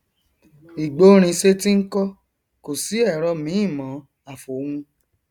ìgbórinsétí nkọ kòsí ẹrọ míì mọn àfòun